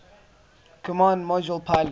command module pilot